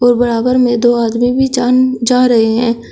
बराबर में दो आदमी भी जान जा रहे हैं।